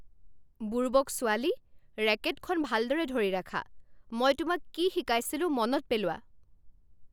বুৰ্বক ছোৱালী। ৰেকেটখন ভালদৰে ধৰি ৰাখা। মই তোমাক কি শিকাইছিলো মনত পেলোৱা।